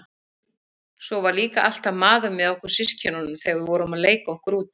Svo var líka alltaf maður með okkur systkinunum þegar við vorum að leika okkur úti.